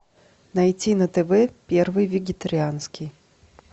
найти на тв первый вегетарианский